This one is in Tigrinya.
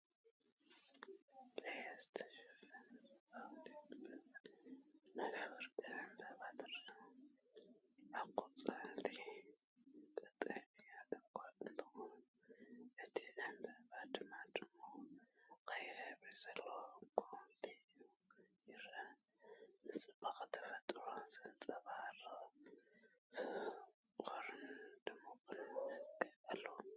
ብቀይሕ ዝተሸፈነት ጽብቕቲ ዕምባባ/ ናይ ፍቕሪ ዕምበባ ትረአ። ኣቝጽልቱ ቀጠልያ እኳ እንተዀነ፡ እቲ ዕምባባ ግን ድሙቕ ቀይሕ ሕብሪ ዘለዎ ጐሊሑ ይርአ። ንጽባቐ ተፈጥሮ ዘንጸባርቕ ፍቑርን ድሙቕን መልክዕ ኣለዎ።